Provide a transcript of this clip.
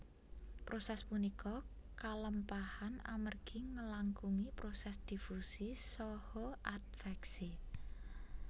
Proses punika kalempahan amergi ngelangkungi proses difusi saha adveksi